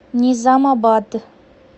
низамабад